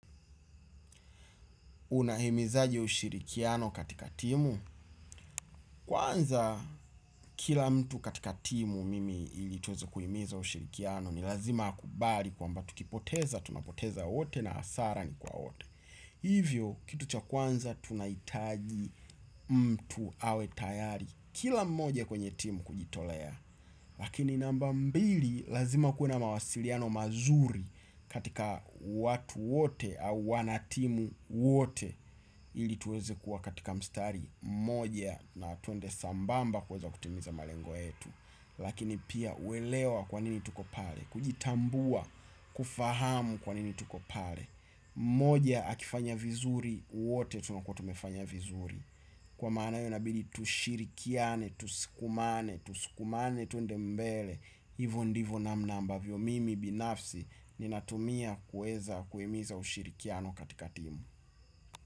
Unahimizaje ushirikiano katika timu? Kwanza kila mtu katika timu mimi ili tuweze kuimiza ushirikiano ni lazima akubali kwamba tukipoteza, tumepoteza wote na hasara ni kwa wote. Hivyo kitu cha kwanza tunahitaji mtu awe tayari kila mmoja kwenye timu kujitolea. Lakini namba mbili lazima kuwe na mawasiliano mazuri katika watu wote au wanatimu wote ili tuweze kuwa katika mstari mmoja na twende sambamba kuweza kutimiza malengo yetu. Lakini pia uelewa kwa nini tuko pale kujitambua kufahamu kwa nini tuko pale. Mmoja akifanya vizuri wote tunakua tumefanya vizuri. Kwa maana hio inabidi tushirikiane, tusukumane, tusukumane, twende mbele. Hivo ndivo namna ambavyo mimi binafsi ninatumia kuweza kuhimiza ushirikiano katika timu.